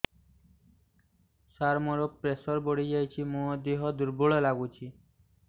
ସାର ମୋର ପ୍ରେସର ବଢ଼ିଯାଇଛି ମୋ ଦିହ ଦୁର୍ବଳ ଲାଗୁଚି